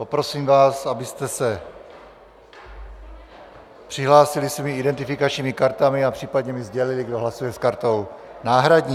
Poprosím vás, abyste se přihlásili svými identifikačními kartami a případně mi sdělili, kdo hlasuje s kartou náhradní.